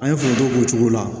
An ye foronto k'o cogo la